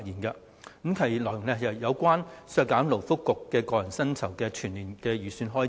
該修正案內容是有關削減勞工及福利局個人薪酬的全年預算開支。